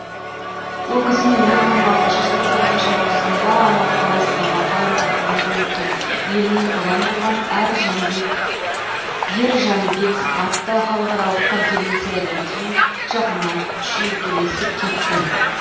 ол кісімен екі мың алтыншы жылы тоғызыншы маусымда алматы қаласындағы ғалымдар үйінде өткен еліне ұран болған ер жәнібек атты халықаралық конференциядан кейін жақыннан шүйіркелесіп кеттім